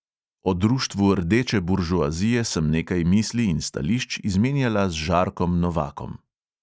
O društvu rdeče buržoazije sem nekaj misli in stališč izmenjala z žarkom novakom.